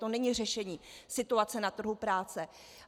To není řešení situace na trhu práce.